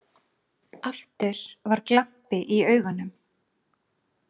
Aftur var glampi í augunum.